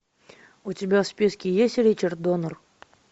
у тебя в списке есть ричард доннер